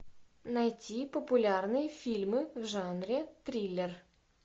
найти популярные фильмы в жанре триллер